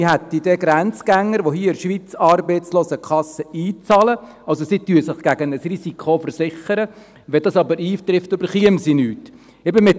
Wir hätten Grenzgänger, die hier in der Schweiz in die Arbeitslosenkasse einbezahlen – sie versichern sich also gegen ein Risiko –, die aber bei Eintreffen des Ereignisses nichts erhalten.